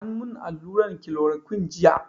An mun allurar kilorokun jiya